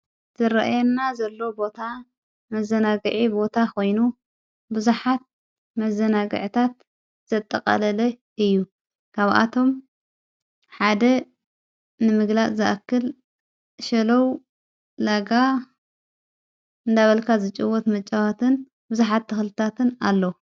ዝረአና ዘሎ ቦታ መዘነግዒ ቦታ ኾይኑ ብዙኃት መዘነግዕታት ዘጠቐለለ እዩ ካብኣቶም ሓደ ንምግላእ ዝኣክል ሸለዉ ለጋ ዳበልካ ዘጭወት መጨዋትን ብዙኃት ተኽልታትን ኣለዉ።